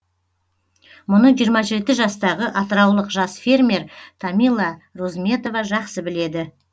мұны жиырма жеті жастағы атыраулық жас фермер тамила розметова жақсы біледі